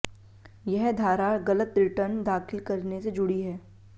यह धारा गलत रिटर्न दाखिल करने से जुड़ी हुई